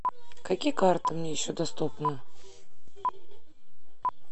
какие карты мне еще доступны